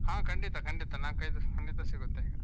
ಹ ಖಂಡಿತ ಖಂಡಿತ ನಾಲ್ಕೈದು ಖಂಡಿತ ಸಿಗುತ್ತೆ ಈಗ.